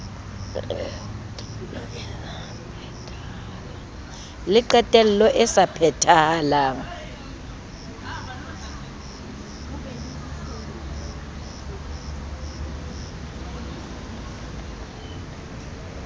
le qetelo e sa phethahalang